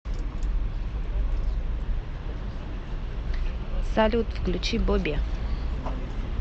салют включи боби